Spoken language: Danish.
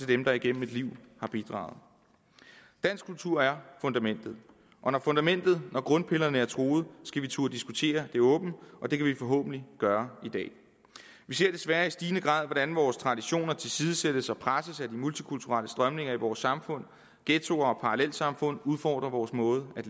dem der gennem et liv har bidraget dansk kultur er fundamentet og når fundamentet grundpillerne er truet skal vi turde diskutere det åbent og det kan vi forhåbentlig gøre i dag vi ser desværre i stigende grad hvordan vores traditioner tilsidesættes og presses af de multikulturelle strømninger i vores samfund ghettoer og parallelsamfund udfordrer vores måde at